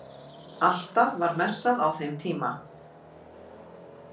Alltaf var messað á þeim tíma